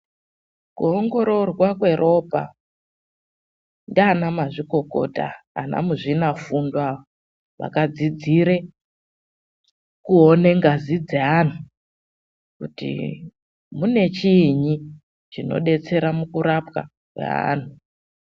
KUONGORORWA KWEROPA NDIANA MAZVIKOKOTA ANAMUZVINAFUNDO WAKADZIDZIRE KUONE NGAZI DZEANHU KUTI MUNECHIINYI CHINODETSERE MUKURAPWA KWEANTHU.